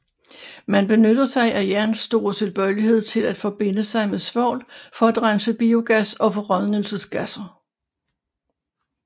Man benytter sig af jerns store tilbøjelighed til at forbinde sig med svovl for at rense biogas og forrådnelsesgasser